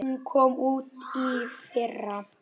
Hún kom út í fyrra.